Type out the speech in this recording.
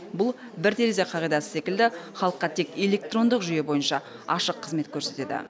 бұл бір терезе қағидасы секілді халыққа тек электрондық жүйе бойынша ашық қызмет көрсетеді